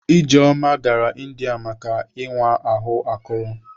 Ijeoma gara India ime ịwa ahụ akụrụ.